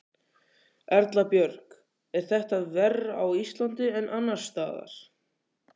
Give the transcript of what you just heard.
Erla Björg: Er þetta verr á Íslandi en annars staðar?